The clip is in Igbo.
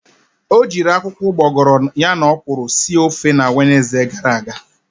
O jiri akwụkwọ ugboghoro ya na okwuru sir ofe na Wenezde gara aga.